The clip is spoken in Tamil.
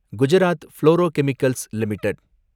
Gujarat fluorochemicals limited